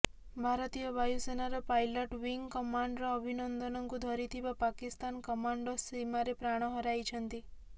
ଭାରତୀୟ ବାୟୁସେନାର pilot wing commander ଅଭିନନ୍ଦନଙ୍କୁ ଧରିଥିବା ପାକିସ୍ତାନ କମାଣ୍ଡୋ ସୀମାରେ ପ୍ରାଣ ହରାଇଛନ୍ତି